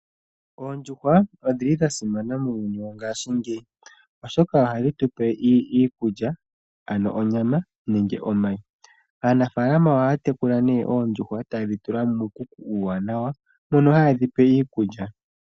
Oondjuhwa odhili dha simana muuyuni wongashinge oshoka ohadhi tu pe iikulya ano onyama nenge omayi. Aanafalama ohaya tekula nee oondjuhwa taye dhi tula muukuku uuwanawa mono haye dhi pe iikulya.